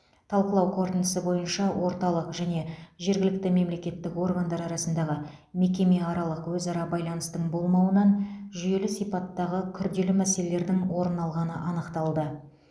талқылау қорытындысы бойынша орталық және жергілікті мемлекеттік органдар арасындағы мекемеаралық өзара байланыстың болмауынан жүйелі сипаттағы күрделі мәселелердің орын алғаны анықталды